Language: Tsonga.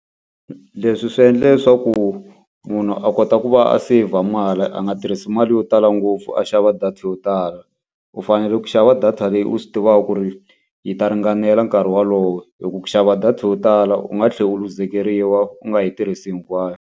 Leswi swi endle leswaku munhu a kota ku va a seyivha mali a nga tirhisi mali yo tala ngopfu a xava data yo tala. U fanele ku xava data leyi u swi tivaka ku ri yi ta ringanela nkarhi wolowo, hikuva ku xava data yo tala u nga tlhela u luzekeriwa u nga yi tirhisi hinkwayo.